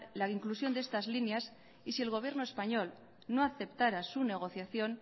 la inclusión de estas líneas y si el gobierno español no aceptara su negociación